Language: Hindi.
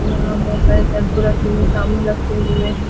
यहाँ बहुत सारे शैम्पू रखे हुए हैं साबुन रखे हुए हैं |